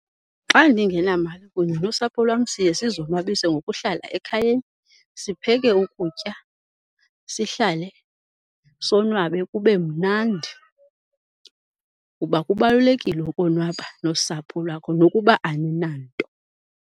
Xa ndingenamali kunye nosapho lwam siye sizonwabise ngokuhlala ekhayeni, sipheke ukutya, sihlale sonwabe kube mnandi kuba kubalulekile ukonwaba nosapho lwakho nokuba aninanto.